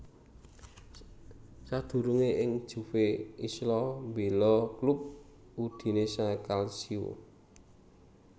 Sadurungé ing Juve Isla mbéla klub Udinese Calcio